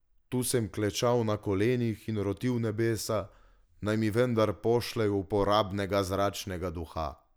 Tu sem klečal na kolenih in rotil nebesa, naj mi vendar pošljejo uporabnega zračnega duha!